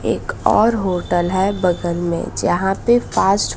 एक और होटल है बगल में जहां पे पास्ट --